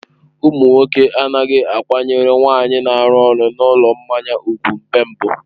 Ụmụ nwoke anaghị akwanyere nwaanyị na-arụ ọrụ na ụlọ mmanya ùgwù mgbe mbụ.